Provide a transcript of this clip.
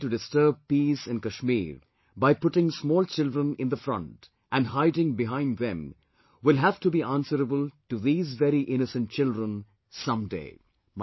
Those trying to disturb peace in Kashmir by putting small children in the front and hiding behind them will have to be answerable to these very innocent children some day